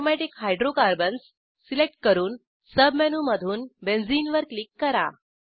aromatic hydrocarbons select करून सबमेनूमधून benzene वर क्लिक करा